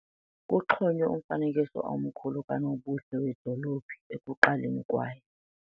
Kuxhonywe umfanekiso omkhulu kanobuhle wedolophu ekuqaleni kwaye.